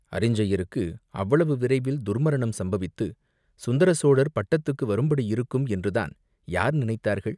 அரிஞ்சயருக்கு அவ்வளவு விரைவில் துர்மரணம் சம்பவித்துச் சுந்தர சோழர் பட்டத்துக்கு வரும்படியிருக்கும் என்று தான் யார் நினைத்தார்கள்?